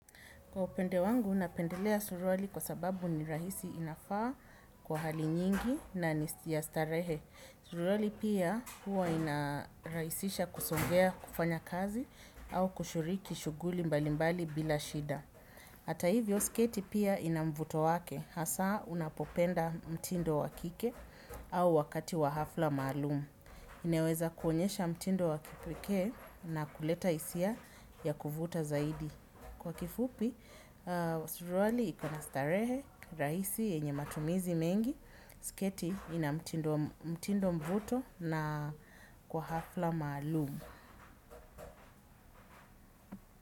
Kwa upande wangu napendelea suruali kwa sababu ni rahisi inafaa kwa hali nyingi na ni ya starehe. Suruali pia huwa inarahisisha kusongea kufanya kazi au kushiriki shughuli mbalimbali bila shida. Hata hivyo sketi pia ina mvuto wake, hasa unapopenda mtindo wa kike au wakati wa hafla maalumu. Ineweza kuonyesha mtindo wa kipekee na kuleta hisia ya kuvuta zaidi. Kwa kifupi, suruali ikona starehe, ni rahisi yenye matumizi mengi, siketi ina mtindo mvuto na kwa hafla maalum.